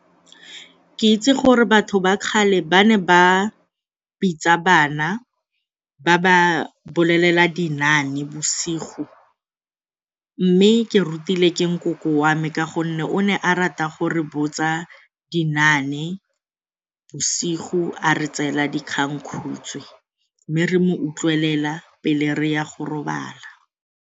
Ke itse gore batho ba kgale ba ne ba bitsa bana ba ba bolelela dinaane bosigo mme ke rutile ke nkoko wa me ka gonne o ne a rata gore botsa dinaane bosigo a re tseela dikgangkhutswe mme re mo utlwelela pele re ya go robala.